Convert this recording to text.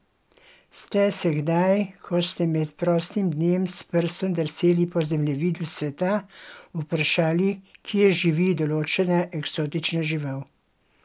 Ste se kdaj, ko ste med prostim dnem s prstom drseli po zemljevidu sveta, vprašali, kje živi določena eksotična žival?